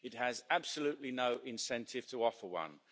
It has absolutely no incentive to offer one.